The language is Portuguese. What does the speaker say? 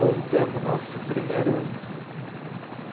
Montamos nosso primeiro